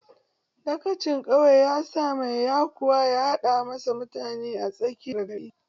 Dagacin ƙauye ya sa mai yekuwa ya haɗo mashi mutane a tsakiyar gari.